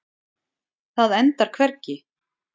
Það endar hvergi.